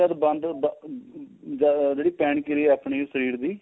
ਬੰਦ ਜਿਹੜੀ ਪੇਨ ਕਿਰਿਆ ਆਪਣੀ ਸਰੀਰ ਦੀ